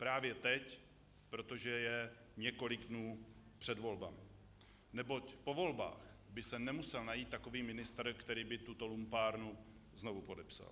Právě teď, protože je několik dnů před volbami, neboť po volbách by se nemusel najít takový ministr, který by tuto lumpárnu znovu podepsal.